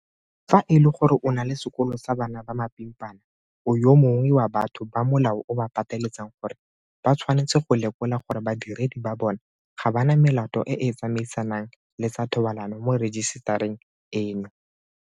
Fa e le gore o na le sekolo sa bana ba mapimpana, o yo mongwe wa batho ba molao o ba pateletsang gore ba tshwanetse go lekola gore badiredi ba bona ga ba na melato e e tsamaisanang le tsa thobalano mo rejisetareng eno.